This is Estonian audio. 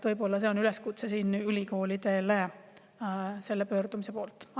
Võib-olla see on üleskutse ülikoolidele selle.